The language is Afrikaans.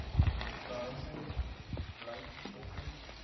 behuising blyk volgens